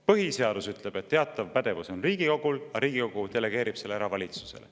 Põhiseadus ütleb, et teatav pädevus on Riigikogul, aga Riigikogu delegeerib selle valitsusele.